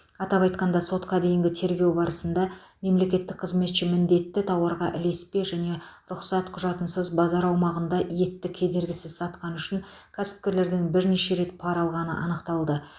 атап айтқанда сотқа дейінгі тергеу барысында мемлекеттік қызметші міндетті тауарға ілеспе және рұқсат құжатынсыз базар аумағында етті кедергісіз сатқаны үшін кәсіпкерлерден бірнеше рет пара алғаны анықталды